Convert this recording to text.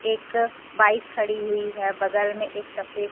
एक बाइक खड़ी हुई है। बगल में एक सफेद--